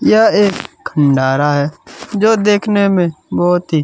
यह एक खण्डारा है जो देखने में बहुत ही--